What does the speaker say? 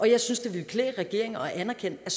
jeg synes det ville klæde regeringen at anerkende at